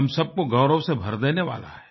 हम सब को गौरव से भर देने वाला है